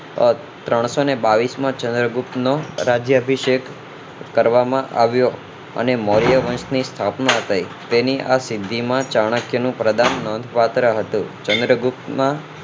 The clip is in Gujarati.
આહ ત્રણસો ને બાવીસ મો ચંદ્રગુપ્ત મૌર્ય નો રાજ્યભિષેક કરવામાં આવ્યો અને મૌર્ય વંશ ની સ્થાપના થઇ તેની આ સિંધી માં ચાણક્ય નું પ્રદાન નોંધપાત્ર હતું ચંદ્રગુપ્ત ના